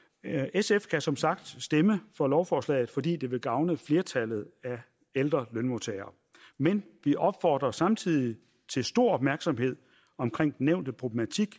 sf kan som sagt stemme for lovforslaget fordi det vil gavne flertallet af ældre lønmodtagere men vi opfordrer samtidig til stor opmærksomhed omkring den nævnte problematik